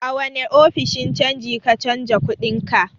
A wane ofishin canji ka canja kuɗinka?